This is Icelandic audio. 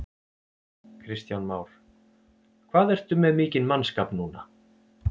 Kristján Már: Hvað ertu með mikinn mannskap núna?